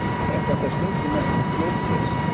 Er þetta stundum nefnt fjórfrelsi.